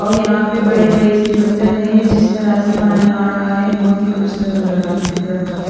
और यहाँ पे बड़े बड़े से पत्थर है जिस तरह से पानी आ रहा है बोहोत ही खुबसूरत नज़र आ दिख रहा है।